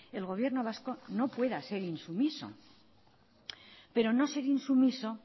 el gobierno vasco no pueda ser insumiso pero no ser insumiso